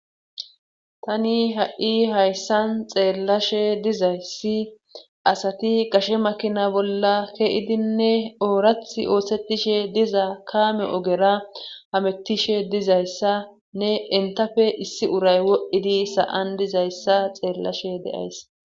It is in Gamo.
Tani ha,i hayssan xeellashe dizayssi asati gashe makina bolla ke7idinne oorath oothsetishe diza kaame ogera hamettishe dizayssa ne entafe issi uray wo7idi sa7an dizayssa xeellashe deays